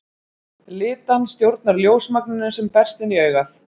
Litan stjórnar ljósmagninu sem berst inn í augað.